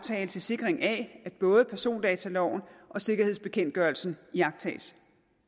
til sikring af at både persondataloven og sikkerhedsbekendtgørelsen iagttages